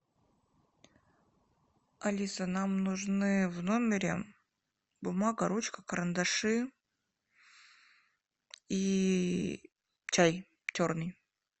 алиса нам нужны в номере бумага ручка карандаши и чай черный